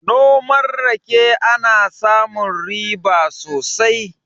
Noman rake ana samun riba sosai